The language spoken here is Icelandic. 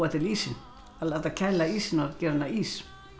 ísinn láta kæla ísinn og gera hann að ís